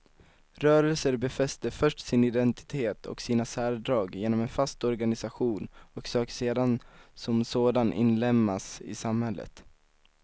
Rörelser befäster först sin identitet och sina särdrag genom en fast organisation och söker sedan som sådan inlemmas i samhället.